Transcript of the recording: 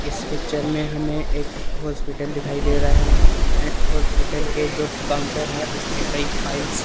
इस पिक्चर में हमें एक हॉस्पिटल दिखाई दे रहा है ऐंड हॉस्पिटल के जो काउंटर है उसपे कई फाइल्स --